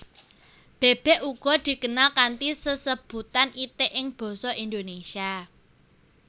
Bèbèk uga dikenal kanthi sesebutan itik ing basa Indonésia